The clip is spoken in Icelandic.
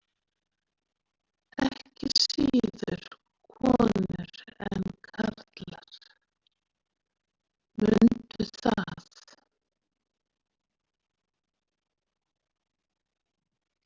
Ekki síður konur en karlar, mundu það.